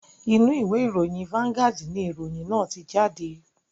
Inú ìwé ìròyìn "vanguard" ni ìròyìn náà tí jáde